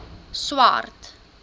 swart